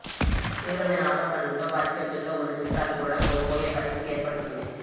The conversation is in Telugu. తీవ్రమైన ఆరోపణలతో వారి చేతుల్లో ఉన్న చిత్రాలు కూడా కోల్పోయే పరిస్థితి ఏర్పడుతోంది